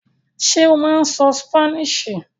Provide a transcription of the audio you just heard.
Ṣé ó máa ń sọ Spanish?